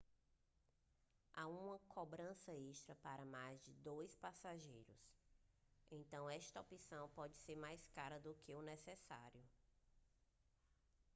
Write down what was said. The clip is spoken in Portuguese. há uma cobrança extra para mais que 2 passageiros então esta opção pode ser mais cara do que o necessário